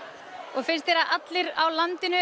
og finnst þér að allir á landinu